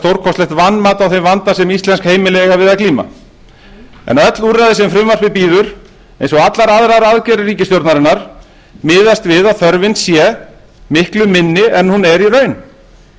stórkostlegt vanmat á þeim vanda sem íslensk heimili eiga við að glíma en öll úrræði sem frumvarpið bíður eins og allar aðrar aðgerðir ríkisstjórnarinnar miðast við að þörfin sé miklu minni en hún er í raun